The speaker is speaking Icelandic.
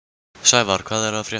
Sævarr, hvað er að frétta?